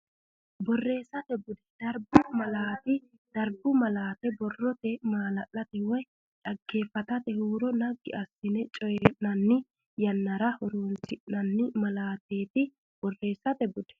Borreessate Bude Darbu Malaate Darbu malaati borrote maala late woy dhaggeeffatatenna huuro naggi assine coyi nanni yannara horoonsi nanni malaateeti Borreessate Bude.